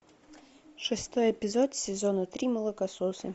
шестой эпизод сезона три молокососы